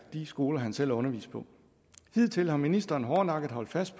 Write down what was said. de skoler han selv har undervist på hidtil har ministeren hårdnakket holdt fast